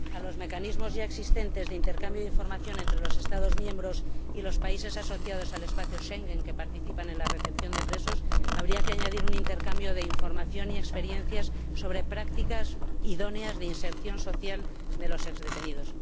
A los mecanismos ya existentes de intercambio de información entre los Estados miembros y los países asociados al espacio Schengen que participan en la recepción de presos, habría que añadir un intercambio de información y experiencias sobre prácticas idóneas de inserción social de los antiguos detenidos.